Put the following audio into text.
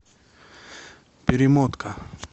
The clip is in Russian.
перемотка